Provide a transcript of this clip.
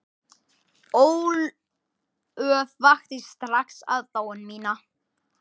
Ólöf vakti strax aðdáun mína.